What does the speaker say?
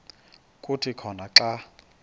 kuthi khona xa